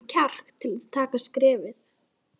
Er það kannski það sem ekki borgar sig?